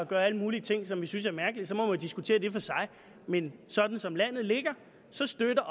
gør alle mulige ting som vi synes er mærkelige så må diskutere det for sig men sådan som landet ligger støtter